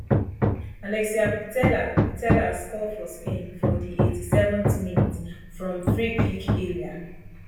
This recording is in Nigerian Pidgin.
alexia putella putella score for spain for di eighty-seventh minutes from free kick area